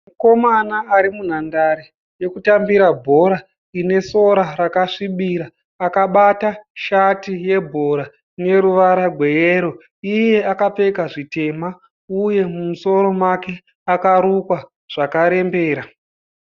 Mukomana ari munhandare yekutambira bhora ine sora rakasvibira. Akabata shati yebhora ine ruvara rweyero ,iye akapfeka zvitema uyewo musoro wake wakarukwa zvakarembera.